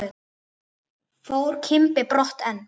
Fór Kimbi brott en